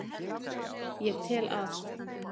Ég tel að